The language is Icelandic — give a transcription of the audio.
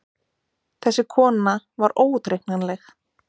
Þessi kona var óútreiknanleg.